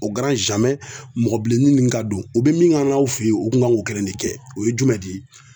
mɔgɔ bilennin nunnu ka don. U be mun k'an na u fe yen, u kun kan k'o kelen de kɛ .O ye jumɛn de ye